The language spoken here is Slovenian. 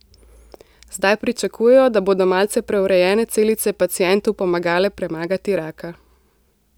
Zdaj pričakujejo, da bodo malce preurejene celice pacientu pomagale premagati raka.